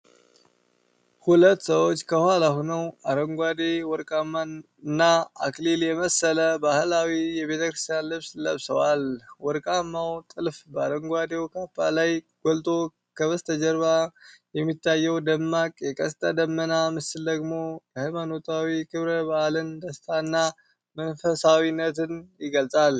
ሁለት ሰዎች ከኋላ ሆነው፤ አረንጓዴ፣ ወርቃማና አክሊል የመሰለ ባህላዊ የቤተክርስቲያን ልብስ ለብሰዋል። ወርቃማው ጥልፍ በአረንጓዴው ካባ ላይ ጎልቶ፤ ከበስተጀርባ የሚታየው ደማቅ የቀስተ ደመና ምስል ደግሞ የሃይማኖታዊ ክብረ በዓልን ደስታና መንፈሳዊነት ይገልጻል።